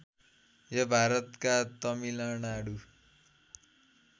यो भारतका तमिलनाडु